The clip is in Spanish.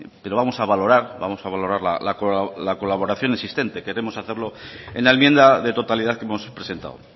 pero vamos a valorar vamos a valorar la colaboración existente queremos hacerlo en la enmienda de totalidad que hemos presentado